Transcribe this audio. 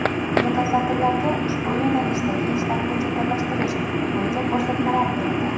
Mutasaddilarga ushbu yo‘nalishdagi ishlarni jadallashtirish bo‘yicha ko‘rsatmalar berildi.